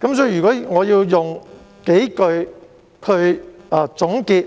如果我要用數句話來總結